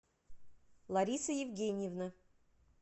лариса евгеньевна